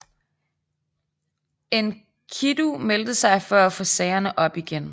Enkidu meldte sig for at få sagerne op igen